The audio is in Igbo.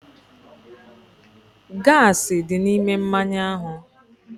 Akpa mmanya nkwụ ahụ gbásárá n'ihi nnukwu gaasi dị n'ime mmanya ahụ.